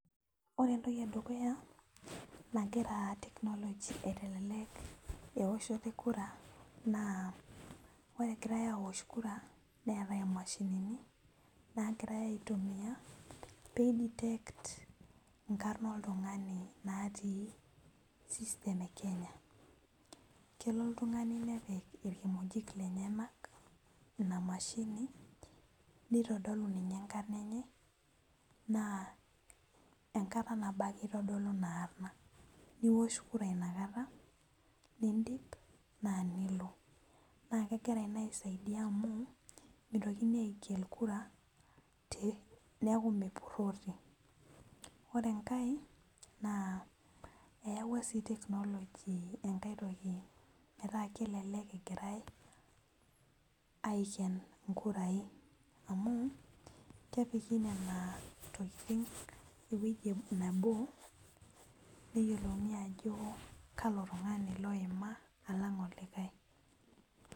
Ore entoki edukuya nagira technology aitelek ewoshoto e kura na ore egirai awosh Kura neetai mashini peideyect nkarn oltungani otii system e kenya kelo oltungani nepik irkimojik lenyenak inamshini nitadolu enkarna enye na enkarna nabo ake itodolu inaarna niwosh kura inakata nindip na nilo na kegira na aisaidia amu mitokini agel kura neaku misudori ore enkae na eyawua enkae toki metaa kelelek egirai aiken nkurai amu kepiki ewoi nebo neyiolouni ajo kalo tungani oima alang olikae.